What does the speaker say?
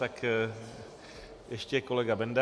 Tak ještě kolega Benda.